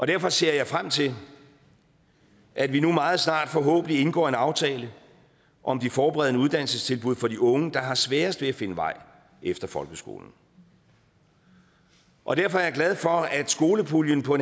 derfor ser jeg frem til at vi meget snart forhåbentlig indgår en aftale om de forberedende uddannelsestilbud for de unge der har sværest ved at finde vej efter folkeskolen og derfor er jeg glad for at skolepuljen på